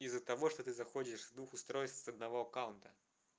из-за того что ты заходишь с двух устройств с одного аккаунта